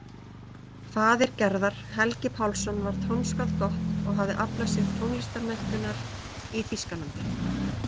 Faðir Gerðar, Helgi Pálsson, var tónskáld gott og hafði aflað sér tónlistarmenntunar í Þýskalandi.